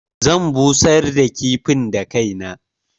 Zan busar da kifin da kaina.